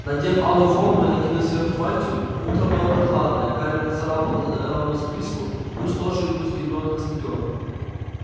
надев алую форму и накинув сверху мантию утро было прохладное гарри нацарапал рону записку пусть тоже идут с гермионой на стадион